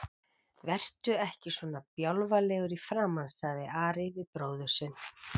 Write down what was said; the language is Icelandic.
Vertu ekki svona bjálfalegur í framan, sagði Ari við bróður sinn.